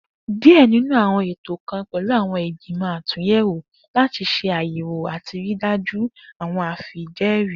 Diẹ ninu awọn eto kan pẹlu awọn igbimọ atunyẹwo lati ṣe ayẹwo ati rii daju awọn afijẹẹri.